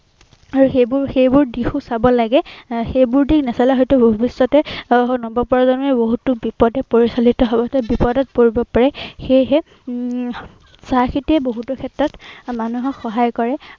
আৰু সেইবোৰ, সেইবোৰ দিশো চাব লাগে। এৰ সেইবোৰ দিশ নাচালে হয়তো ভৱিষ্য়তে আহ নৱপ্ৰজন্মই বহুতো বিপথে পৰিচালিত হব অৰ্থাৎ বিপদত পৰিব পাৰে। সেয়েহে উম চাহ খেতিয়ে বহুতো ক্ষেত্ৰত মানুহক সহায় কৰে।